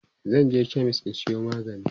zanje chemist in Sayo magani